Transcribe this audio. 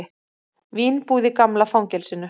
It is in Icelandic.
Vínbúð í gamla fangelsinu